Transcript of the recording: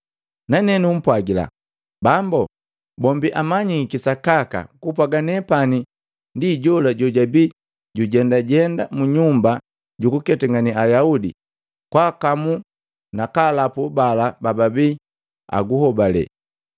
Nane numpwagila, ‘Bambo, bombi amanyiki sakaka kupwaga nepani ndi jola jojabia jujendajenda mu nyumba jukuketangane Ayaudi kwaakamu na kalapu bala bababii aguhobale.